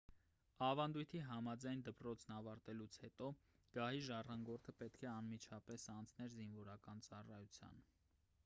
ավանդույթի համաձայն դպրոցն ավարտելուց հետո գահի ժառանգորդը պետք է անմիջապես անցներ զինվորական ծառայության